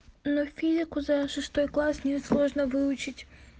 но физику за шестой класс не сложно выучить